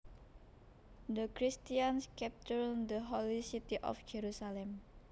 The Christians captured the holy city of Jerusalem